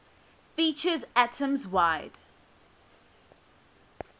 features atoms wide